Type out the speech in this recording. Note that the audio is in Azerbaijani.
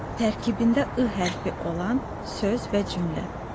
Tərkibində ı hərfi olan söz və cümlə.